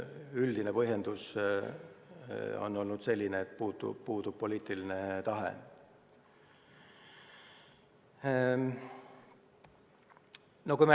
Üldine põhjendus on olnud selline, et puudub poliitiline tahe.